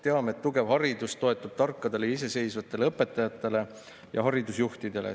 Teame, et tugev haridus toetub tarkadele ja iseseisvatele õpetajatele ja haridusjuhtidele.